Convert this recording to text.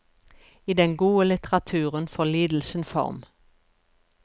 I den gode litteraturen får lidelsen form.